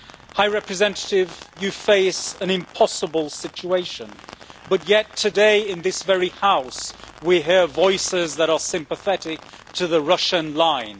High Representative, you face an impossible situation, and yet today in this very House, we hear voices that are sympathetic to the Russian line.